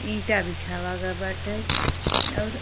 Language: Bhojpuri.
ईंटा बिछावा गए बाटै। अउर --